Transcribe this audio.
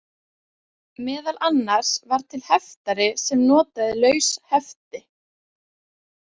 Meðal annars var til heftari sem notaði laus hefti.